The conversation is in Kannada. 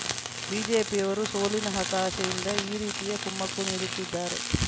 ಬಿಜೆಪಿಯವರು ಸೋಲಿನ ಹತಾಶೆಯಿಂದ ಈ ರೀತಿಯ ಕುಮ್ಮಕ್ಕು ನೀಡುತ್ತಿದ್ದಾರೆ